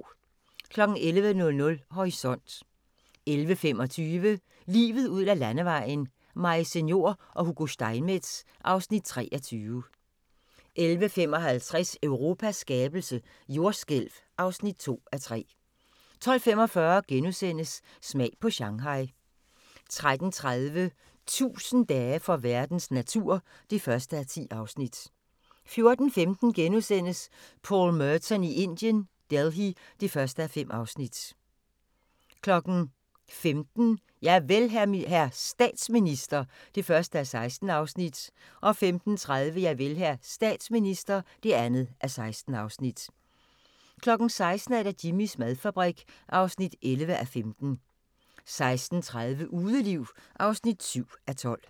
11:00: Horisont 11:25: Livet ud ad landevejen: Maise Njor og Hugo Steinmetz (Afs. 23) 11:55: Europas skabelse - jordskælv (2:3) 12:45: Smag på Shanghai * 13:30: 1000 dage for verdens natur (1:10) 14:15: Paul Merton i Indien - Delhi (1:5)* 15:00: Javel, hr. statsminister (1:16) 15:30: Javel, hr. statsminister (2:16) 16:00: Jimmys madfabrik (11:15) 16:30: Udeliv (7:12)